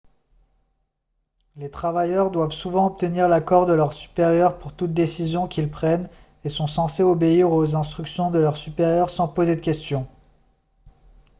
les travailleurs doivent souvent obtenir l'accord de leurs supérieurs pour toute décision qu'ils prennent et sont censés obéir aux instructions de leurs supérieurs sans poser de questions